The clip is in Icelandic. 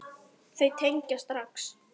Þau tengja strax.